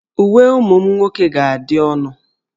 Uwe ụmụ nwoke ga-adị ọnụ